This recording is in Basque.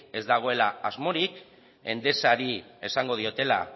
ez dagoela asmorik endesari esango diotela